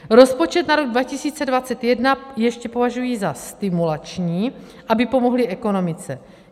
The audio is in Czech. Rozpočet na rok 2021 ještě považují za stimulační, aby pomohli ekonomice.